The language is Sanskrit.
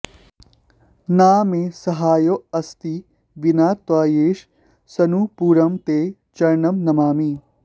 न मे सहायोऽस्ति विना त्वयैष सनूपुरं ते चरणं नमामि